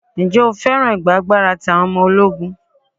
Ǹjẹ́ o féràn ìgba agbára ti àwọn ọmọ ológun?